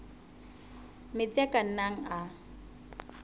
metsi a ka nnang a